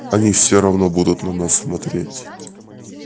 они всё равно будут на нас смотреть